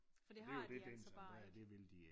For det har de altså bare ikke